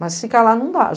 Mas ficar lá não dá.